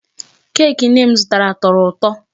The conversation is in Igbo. Cake nne m zụtara tọrọ ụtọ.